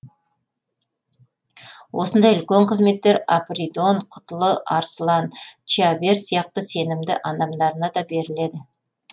осындай үлкен қызметтер апридон құтлы арсылан чиабер сияқты сенімді адамдарына да беріледі